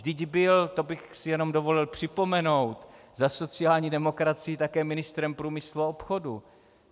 Vždyť byl, to bych si jenom dovolil připomenout, za sociální demokracii také ministrem průmyslu a obchodu.